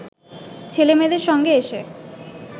ছেলেমেয়েদের সঙ্গে এসে